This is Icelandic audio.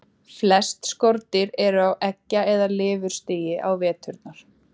Flest skordýr eru á eggja- eða lirfustigi á veturna.